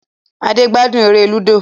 Ade gbádùn èrè ludo.